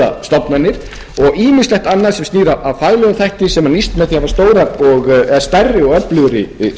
stofnanir og ýmislegt annað sem snýr að faglegum þætti sem með því að hafa stærri og öflugri stofnanir þetta er nokkuð